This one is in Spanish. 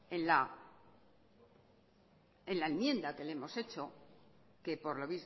en la enmienda que lo hemos hecho que por lo